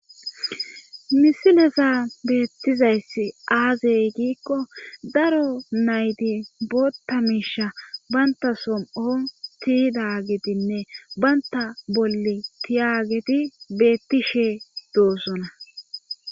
misileza beettizayss aazey giikko daro nayti botta miishash banta som'on tiyidagetinne baynta bolle tiyageti beettishe doossona